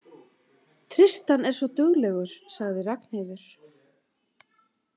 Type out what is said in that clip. Tristan er svo duglegur, sagði Ragnheiður.